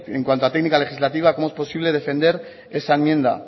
en cuanto a técnica legislativa cómo es posible defender esa enmienda